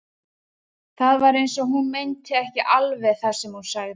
Það var eins og hún meinti ekki alveg það sem hún sagði.